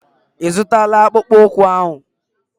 Ị zụtala akpụkpụ ụkwụ ahụ?